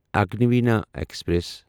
Agniveena express